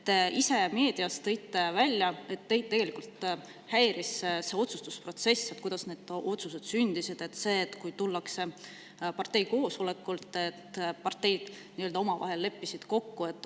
Te ise tõite meedias välja, et teid tegelikult häiris see otsustusprotsess: see, kuidas need otsused sündisid, et tullakse parteikoosolekult, kus parteid nii-öelda omavahel leppisid kokku.